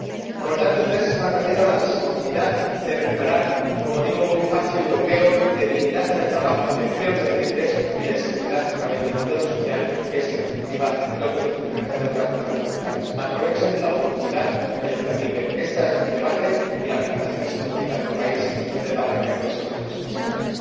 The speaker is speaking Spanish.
Por lo tanto, ustedes están perdiendo la oportunidad de recuperar, como digo, un espacio europeo de dignidad en el trabajo, de empleos decentes y de seguridad a través del modelo social, que es en definitiva lo que nos diferencia de otras zonas monetarias. Aprovechen la oportunidad que les permite este debate y las recomendaciones específicas por país que ustedes debaten en el Consejo en las próximas semanas.